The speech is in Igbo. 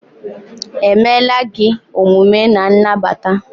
emela gị omume n' nagbata?